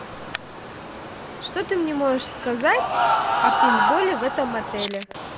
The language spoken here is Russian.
что ты мне можешь сказать о пейнтболе в этом отеле